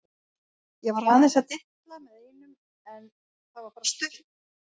Ég var aðeins að dilla með einum en það var bara stutt.